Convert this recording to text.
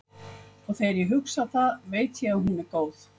Og þegar ég hugsa það veit ég að hún er góð.